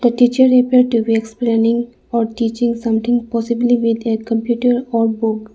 teacher appeared to be explaining or teaching something possibly with a computer or book.